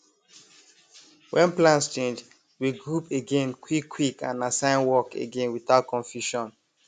when plans change we group again quick quick and assign work again without confusion